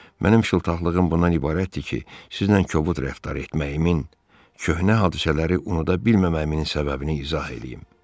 Mənim şıltaqlığım bundan ibarətdir ki, sizlə kobud rəftar etməyimin, köhnə hadisələri unuda bilməməyimin səbəbini izah eləyim.